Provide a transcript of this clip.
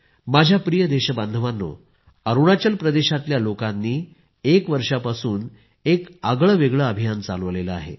माझ्या प्रिय देशबांधवांनो अरूणाचल प्रदेशातल्या लोकांनी एक वर्षापासून एक आगळं वेगळं अभियान चालवलं आहे